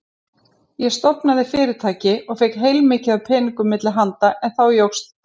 Ég stofnaði fyrirtæki og fékk heilmikið af peningum milli handa en þá jókst drykkjan.